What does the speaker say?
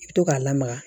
I bɛ to k'a lamaga